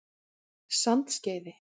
Sandskeiði